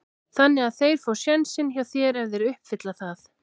Þannig að þeir fá sénsinn hjá þér ef þeir uppfylla það?